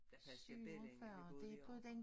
Der passede jeg bedre ind da vi bode herovre